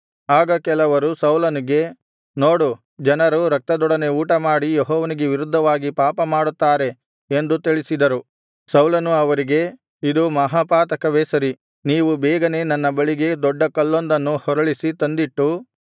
ಆಗ ಕೆಲವರು ಸೌಲನಿಗೆ ನೋಡು ಜನರು ರಕ್ತದೊಂದಿಗೆ ಊಟಮಾಡಿ ಯೆಹೋವನಿಗೆ ವಿರುದ್ಧವಾಗಿ ಪಾಪ ಮಾಡುತ್ತಾರೆ ಎಂದು ತಿಳಿಸಿದರು ಸೌಲನು ಅವರಿಗೆ ಇದು ಮಹಾಪಾತಕವೇ ಸರಿ ನೀವು ಬೇಗನೆ ನನ್ನ ಬಳಿಗೆ ದೊಡ್ಡ ಕಲ್ಲೊಂದನ್ನು ಹೊರಳಿಸಿ ತಂದಿಟ್ಟು